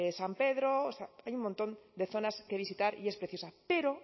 san pedro o sea hay un montón de zonas que visitar y es preciosa pero